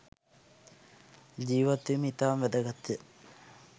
ජීවත්වීම ඉතාම වැදගත්ය.